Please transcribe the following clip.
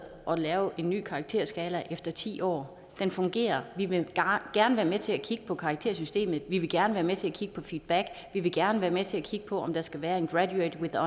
at lave en ny karakterskala efter ti år den fungerer vi vil gerne være med til at kigge på karaktersystemet vi vil gerne være med til at kigge på feedback vi vil gerne være med til at kigge på om der skal være en graduated